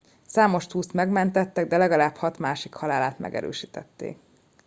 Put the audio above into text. számos túszt megmentettek de legalább hat másik halálát megerősítették